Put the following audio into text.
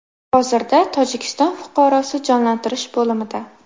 Hozirda Tojikiston fuqarosi jonlantirish bo‘limida.